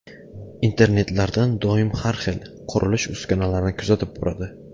Internetlardan doim har xil, qurilish uskunalarini kuzatib boradi.